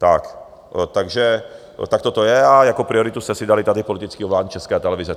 Takto to je a jako prioritu jste si dali tady politické ovládnutí České televize.